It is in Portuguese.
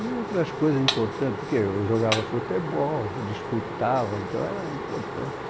E outras coisas importantes, porque eu jogava futebol, disputava, então era importante.